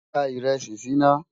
dá írèsì sí nà